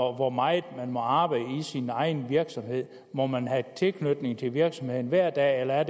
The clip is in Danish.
hvor meget man må arbejde i sin egen virksomhed må man have tilknytning til virksomheden hver dag eller er